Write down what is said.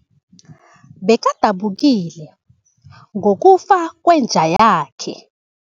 Bekadabukile ngokufa kwenja yakhe.